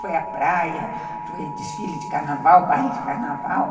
Foi à praia, foi desfile de carnaval, baile de carnaval.